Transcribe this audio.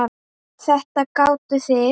Þetta gátuð þið.